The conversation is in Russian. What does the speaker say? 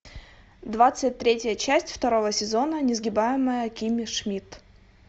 двадцать третья часть второго сезона несгибаемая кимми шмидт